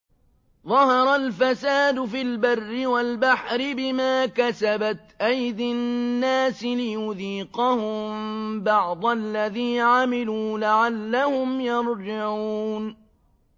ظَهَرَ الْفَسَادُ فِي الْبَرِّ وَالْبَحْرِ بِمَا كَسَبَتْ أَيْدِي النَّاسِ لِيُذِيقَهُم بَعْضَ الَّذِي عَمِلُوا لَعَلَّهُمْ يَرْجِعُونَ